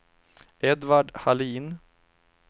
Edvard Hallin